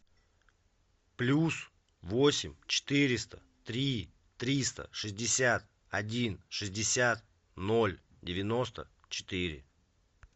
плюс восемь четыреста три триста шестьдесят один шестьдесят ноль девяносто четыре